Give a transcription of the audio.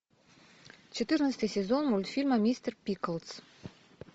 четырнадцатый сезон мультфильма мистер пиклз